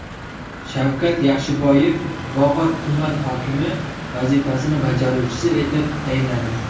Shavkat Yaxshiboyev Bog‘ot tuman hokimi vazifasini bajaruvchisi etib tayinlandi.